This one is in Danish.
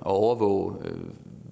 overvåge